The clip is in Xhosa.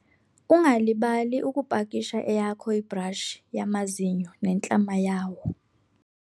ungalibali ukupakisha eyakho ibhrashi yamazinyo nentlama yawo